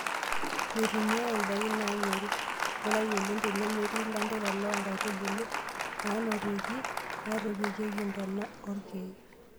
Meitumiae ndaiki naanyori; Ngurai oleng' tenemetii ilanterera loo nkaitubulu nenarokitin naitoipieeki ntona oorkiek.